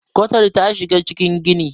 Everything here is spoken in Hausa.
kwatar ta shiga cikin gini